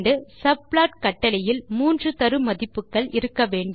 subplot கட்டளையில் மூன்று தரு மதிப்புகள் இருக்க வேண்டும்